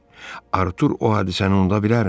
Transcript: Artur o hadisəni unuda bilərmi?